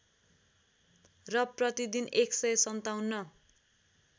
र प्रतिदिन १५७